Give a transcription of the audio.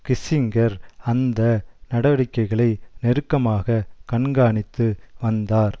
Kissinger அந்த நடவடிக்கைகளை நெருக்கமாக கண்காணித்து வந்தார்